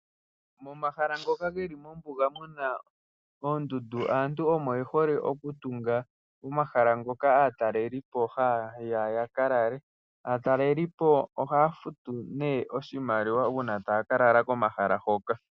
Omahala ngoka geli mpoka puna oondundu aantu omo yehole okutunga, naatalelipo ohaa futu nee uuna taa ka lala pomahala ngoka.